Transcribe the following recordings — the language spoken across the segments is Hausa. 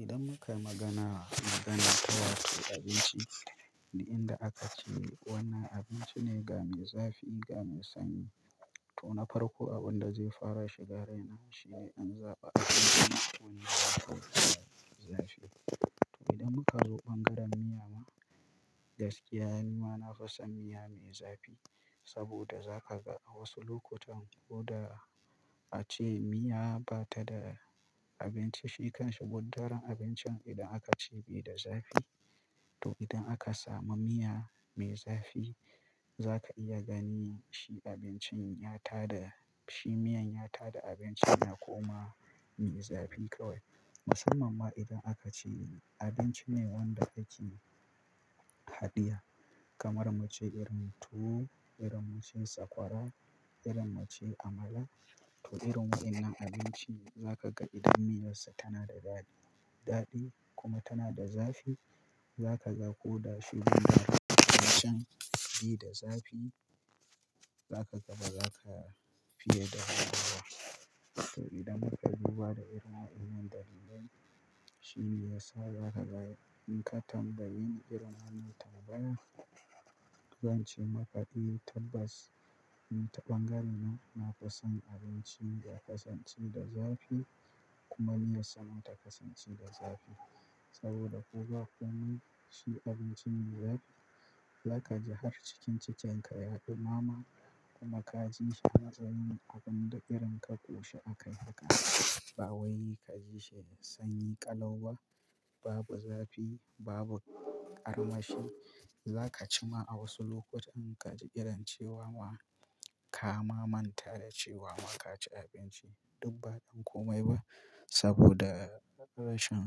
Idan muka magana, magana ta wata abinci duk inda aka ce wannan abinci ne ga mai zafi, ga mai sanyi, to na farko abin da zai fara shiga raina shine in zaɓa abinci mai zafi. To idan muka zo ɓangaren miya ma, gaskiya ni ma na fi son miya mai zafi saboda za ka ga a wasu lokutan ko da a ce miya ba ta da abinci shi kan shi, gudderen abincin idan aka ce bai da zafi, to idan aka samu miya mai zafi za ka iya gani shi abincin ya ta da shi miyan ya ta da abincin ya koma mai zafi kawai. Musamman ma idan aka ce abinci ne wanda ake haɗiya kamar muce irin tuwo, irin muce sakwara, irin muce amala, to irin wannan abinci za ka ga idan miyar sa tana da daɗi, daɗi kuma tana da zafi za ka ga ko da shi zai na fito cikin bai da zafi, za ka ga ba za ka fiye da haɗawa. To idan muka duba da irin wannan dalilan, shine yasa za ka ga in ka tambayi irin hannu tambaya, zan ce maka dai tabbas ta ɓangarena na fi son abinci ya kasance da zafi kuma miyar sa ma ta kasance da zafi saboda ko ba komai shi abincin ya yi, za ka ji har cikin cikin ka yaɗi mama kuma ka ji shi matsayin abin da irin ka ƙoshi akai haka ba wai ka ji shi sanyi ƙalau ba, babu zafi, babu armashi. Za ka ci ma a wasu lokutan ka ji irin cewa kama manta da cewa ma ka ci abinci duk ba don komai ba saboda rashin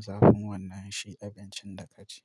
zafin wannan shi abincin da ka ci.